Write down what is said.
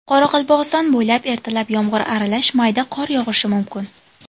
Qoraqalpog‘iston bo‘ylab ertalab yomg‘ir aralash mayda qor yog‘ishi mumkin.